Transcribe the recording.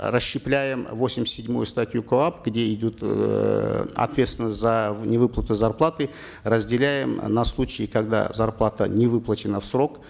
расщепляем восемьдесят седьмую статью коап где идет эээ ответственность за невыплату зарплаты разделяем на случаи когда зарплата не выплачена в срок